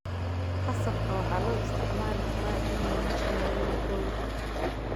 Qasabka waxaa loo isticmaali karaa in lagu sameeyo rooti.